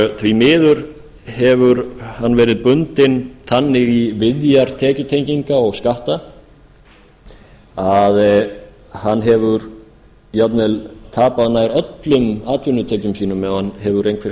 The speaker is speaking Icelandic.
því miður hefur hann verið bundinn þannig í viðjar tekjutenginga og skatta að hann hefur jafnvel tapað nær öllum atvinnutekjum sínum ef hann hefur einhverjar